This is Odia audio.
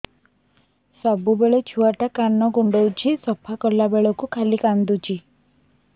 ସବୁବେଳେ ଛୁଆ ଟା କାନ କୁଣ୍ଡଉଚି ସଫା କଲା ବେଳକୁ ଖାଲି କାନ୍ଦୁଚି